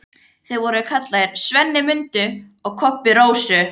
Þú værir vís með að þykjast fá aðsvif.